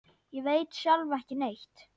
Ég veit sjálf ekki neitt.